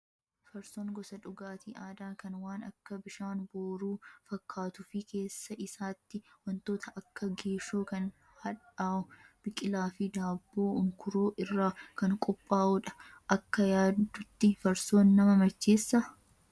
Farsoon gosa dhugaatii aadaa kan waan akka bishaan booruu fakkaatuu fi keessa isaatti wantoota akka geeshoo kan hadhaa'uu, biqilaa fi daabboo unkuroo irraa kan qophaa'udha. Akka yaaddutti farsoon nama macheessaa?